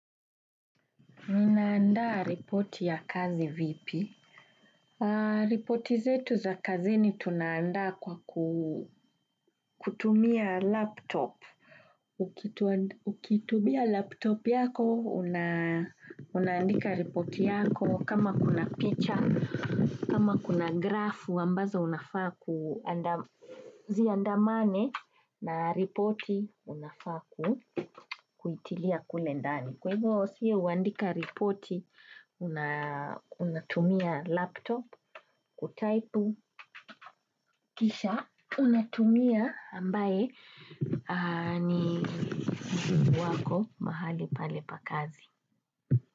Ninaandaa ripoti ya kazi vipi? Ripoti zetu za kazini tunaandaa kwa kutumia laptop. Ukitumia laptop yako, unaandika ripoti yako. Kama kuna picture, kama kuna grafu, ambazo unafaa ku ziandamane na ripoti unafaa kuitilia kulendani. Kwa hivyo, sisi huandika ripoti, unatumia laptop kutypu kisha unatumia ambaye ni wako mahali pale pa kazi.